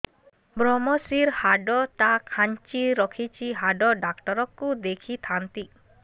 ଵ୍ରମଶିର ହାଡ଼ ଟା ଖାନ୍ଚି ରଖିଛି ହାଡ଼ ଡାକ୍ତର କୁ ଦେଖିଥାନ୍ତି